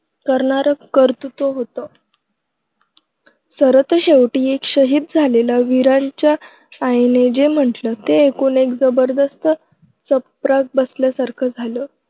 करणारं कर्तृत्व होतं. सरतेशेवटी एका शहीद झालेल्या वीराच्या आईनं जे म्हटलं ते ऐकून एक जबरदस्त चपराक बसल्यासारखं झालं.